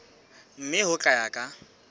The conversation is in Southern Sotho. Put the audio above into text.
mme ho tla ya ka